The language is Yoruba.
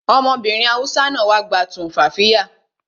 Ọmọbìnrin Hausa náà wá gba tumfafiya